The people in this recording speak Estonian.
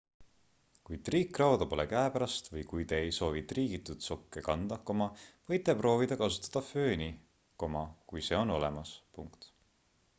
kui triikrauda pole käepärast või kui te ei soovi triigitud sokke kanda võite proovida kasutada fööni kui see on olemas